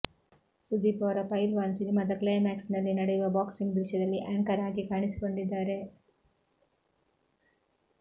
ಸುದೀಪ್ ಅವರ ಪೈಲ್ವಾನ್ ಸಿನಿಮಾದ ಕ್ಲೈಮ್ಯಾಕ್ಸ್ ನಲ್ಲಿ ನಡೆಯುವ ಬಾಕ್ಸಿಂಗ್ ದೃಶ್ಯದಲ್ಲಿ ಆಂಕರ್ ಆಗಿ ಕಾಣಿಸಿಕೊಂಡಿದ್ದಾರೆ